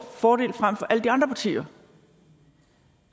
fordel frem for alle de andre partier